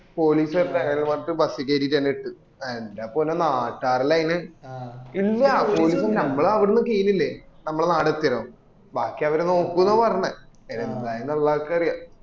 police വരട്ടെ പറഞ് bus കേറിട്ടു ന്നെ ഇട്ട് എന്ടെ പൊന്നോ നാട്ടാര് എല്ലൊം അയിന് നമ്മൾ അവ്ട്ന്ന് കീഞ്ഞില്ലേ നമ്മള നാട് എത്യേരം ബാക്കി അവര് നോക്കൊന്ന് പറഞ്ഞെ എന്തായിന്നു അറിയ